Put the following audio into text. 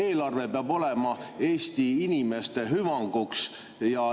Eelarve peab olema Eesti inimeste hüvanguks.